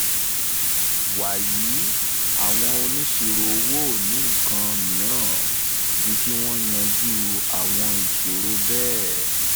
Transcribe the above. wàyí àwọn onísirò owó ò ní nǹkan mìíràn ju kí wọ́n yanjú àwọn ìṣòro bẹ́ẹ̀.